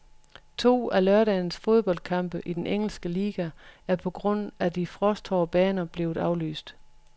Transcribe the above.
To af lørdagens fodboldkampe i den engelske liga er på grund af de frosthårde baner blevet aflyst.